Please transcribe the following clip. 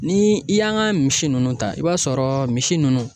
Ni i y'an ka misi ninnu ta i b'a sɔrɔ misi ninnu